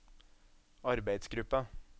arbeidsgruppa